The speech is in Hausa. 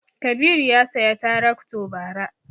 Kabiru ya saya tarakto bara